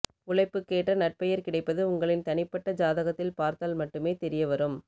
உழைப்புக்கேற்ற நற்பெயர் கிடைப்பது உங்களின் தனிப்பட்ட ஜாதகத்தில் பார்த்தால் மட்டுமே தெரியவரும்